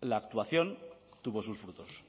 la actuación tuvo sus frutos